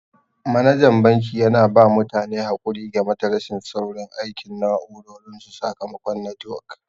Manajan banki yana ba mutane haƙuri game da rashin saurin aikin na'urorin su sakamakon netiwok.